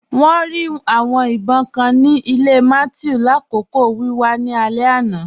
Wọn rí awọn ìbọǹ kàn ni ilẹ̀ Mathew lakọọ̀ wíwà ni alẹ̀ àná.